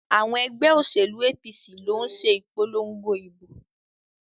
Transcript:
Àwọn ẹgbẹ́ òṣèlú APC ló ń ṣe ìpolongo ìbò.